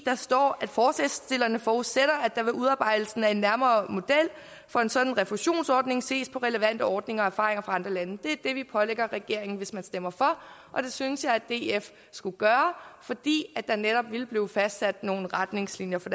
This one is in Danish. der står at forslagsstillerne forudsætter at der ved udarbejdelsen af en nærmere model for en sådan refusionsordning ses på relevante ordninger og erfaringer fra andre lande det er det vi pålægger regeringen hvis man stemmer for og det synes jeg at df skulle gøre fordi der netop ville blive fastsat nogle retningslinjer for